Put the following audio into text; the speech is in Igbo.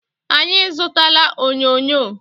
Anyị zụtala onyonyo